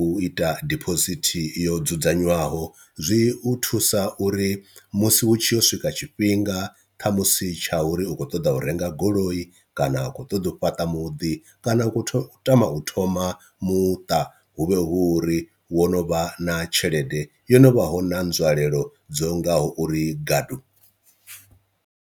u ita dibosithi yo dzudzanywaho, zwi u thusa uri musi hu tshi yo swika tshifhinga khamusi tsha uri u kho ṱoḓa u renga goloi kana a khou ṱoḓa u fhaṱa muḓi kana u khou tama u thoma muṱa hu vhe hu uri wo no vha na tshelede yo no vha hu na nzwalelo dzo ngaho uri gadu.